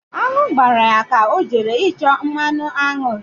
Aṅụ gbara ya ka ọ jere ịchọ mmanụ aṅụ.ri